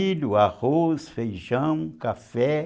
Milho, arroz, feijão, café.